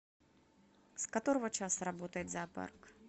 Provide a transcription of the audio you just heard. с которого часа работает зоопарк